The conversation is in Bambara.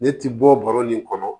Ne ti bɔ baro nin kɔnɔ